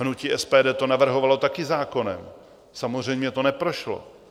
Hnutí SPD to navrhovalo také zákonem, samozřejmě to neprošlo.